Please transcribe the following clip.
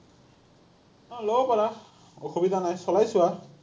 অ, ল’ব পাৰা। অসুবিধা নাই, চলাই চোৱা।